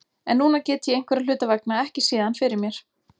En núna get ég einhverra hluta vegna ekki séð hann fyrir mér.